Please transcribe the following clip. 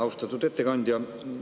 Austatud ettekandja!